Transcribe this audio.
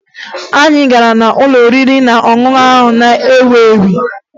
Anyị gara n'ụlọ oriri na ọṅụṅụ ahụ na-ewu ewu